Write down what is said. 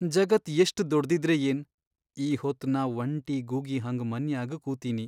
ಜಗತ್ ಎಷ್ಟ್ ದೊಡ್ಡ್ದಿದ್ರೆ ಏನ್ ಈ ಹೊತ್ ನಾ ವಂಟಿ ಗೂಗಿ ಹಂಗ್ ಮನ್ಯಾಗ್ ಕೂತಿನಿ.